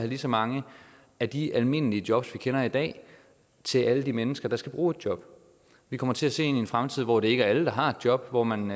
lige så mange af de almindelige jobs vi kender i dag til alle de mennesker der skal bruge et job vi kommer til at se ind i en fremtid hvor det ikke er alle der har et job hvor man